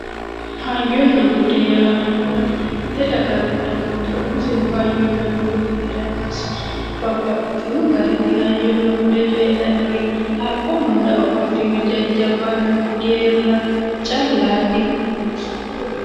Hayyonna bude yaa mite dagaranna dagoomira umisehu hayyonna budu heeranosi, babbaxino garinni hayyonna bude coyidhannori haqqu hunda afollitino jajjabbanna geerra callati